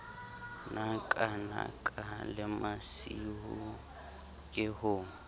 nakanaka le masiu ke ho